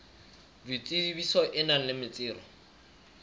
boitsebiso e nang le metsero